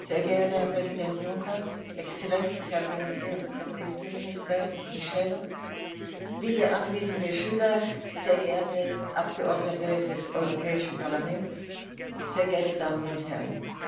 sehr geehrter Herr Präsident Juncker, Exzellenz, Herr Premierminister Michel, liebe anwesende Schüler, sehr geehrte Abgeordnete des Europäischen Parlaments, sehr geehrte Damen und Herren!